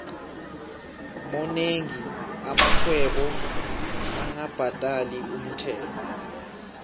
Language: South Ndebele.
monengi amarhwebo angabhadali umthelo